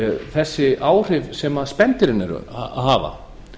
þessi áhrif sem spendýrin eru að hafa